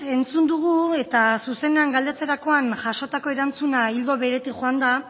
entzun dugu eta zuzenean galdetzerakoan jasotako erantzuna ildo beretik joan da